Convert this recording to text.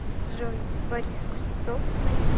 джой борис кузнецов на ютуб